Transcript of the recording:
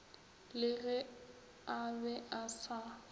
le ge a be asa